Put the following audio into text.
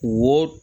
Wo